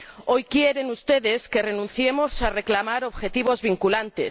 Hoy quieren ustedes que renunciemos a reclamar objetivos vinculantes.